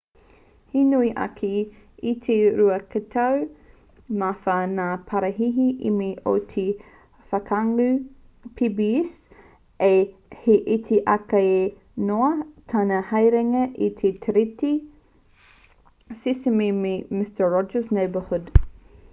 he nui ake i te ruatekau mā whā ngā paraihe emmy o te whakangāhau pbs ā he iti ake noa tana haerenga i te tiriti sesame me te mister rogers' neighborhood